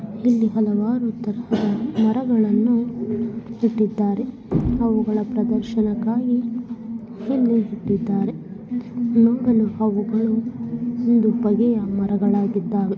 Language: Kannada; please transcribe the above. ಮರಗಳನ್ನು ಇಟ್ಟಿದ್ದಾರೆ ಅವುಗಳ ಪ್ರದರ್ಶನೆಗಳಿಗಾಗಿ ಇಲ್ಲಿ ಇಟ್ಟಿದ್ದಾರೆ